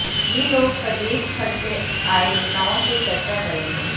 ये लोग प्रदेशभर से आए नेताओं से चर्चा करेंगे